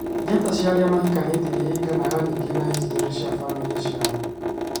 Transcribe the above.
Njata cia aria mahikanitie ni iringanaga ningi na hicitorĩ cia bamĩrĩ ciao